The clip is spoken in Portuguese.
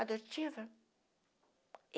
Adotiva.